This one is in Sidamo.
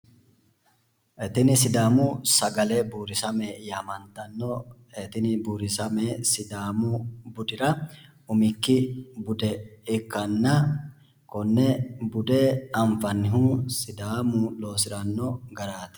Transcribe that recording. Tini sidaamu sagale buurisamme yamantano, tini buurisame sidaamu budira umikki bude ikkanna konne bude anfannihu sidaamu loosirano garaati.